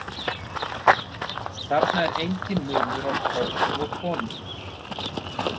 Þarna er enginn munur á körlum og konum.